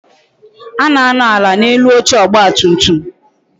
A na-anọ ala n'elu oche ọgba tum tum